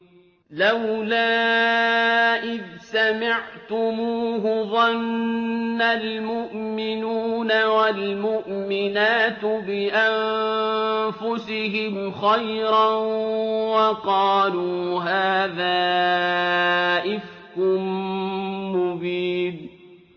لَّوْلَا إِذْ سَمِعْتُمُوهُ ظَنَّ الْمُؤْمِنُونَ وَالْمُؤْمِنَاتُ بِأَنفُسِهِمْ خَيْرًا وَقَالُوا هَٰذَا إِفْكٌ مُّبِينٌ